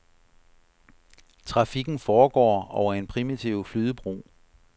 Trafikken foregår over en primitiv flydebro.